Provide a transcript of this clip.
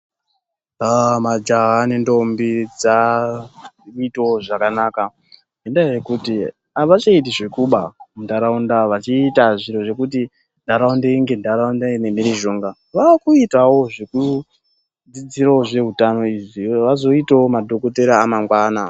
Majaha nentombi dzakuitawo zvakanaka ngendayawo yekuti avachaiti zvekuba muntaraunda vachiita zviro zvekuti ntaraunda inge ntaraunda ine mhirizhonga. Vakuitawo zvekudzidzira zveutano izvi kuti vazoitawo madhokodheya amangwana